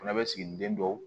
Fana bɛ siginiden dɔw